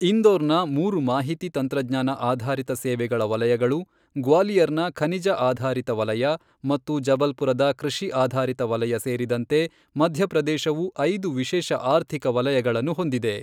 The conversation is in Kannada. ಇಂದೋರ್ನ ಮೂರು ಮಾಹಿತಿ ತಂತ್ರಜ್ಞಾನ ಆಧಾರಿತ ಸೇವೆಗಳ ವಲಯಗಳು, ಗ್ವಾಲಿಯರ್ನ ಖನಿಜ ಆಧಾರಿತ ವಲಯ, ಮತ್ತು ಜಬಲ್ಪುರದ ಕೃಷಿ ಆಧಾರಿತ ವಲಯ ಸೇರಿದಂತೆ ಮಧ್ಯಪ್ರದೇಶವು ಐದು ವಿಶೇಷ ಆರ್ಥಿಕ ವಲಯಗಳನ್ನು ಹೊಂದಿದೆ.